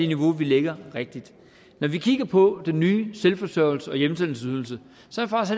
niveau vi lægger når vi kigger på den nye selvforsørgelses og hjemsendelsesydelse